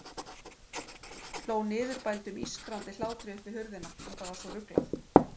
Hló niðurbældum, ískrandi hlátri upp við hurðina, þetta var svo ruglað.